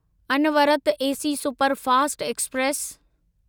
अनवरत AC superfast express